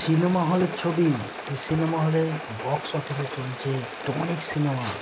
Cinema হলের ছবি। যে সিনেমা হলে বক্স অফিস চলছে টনিক সিনেমা ।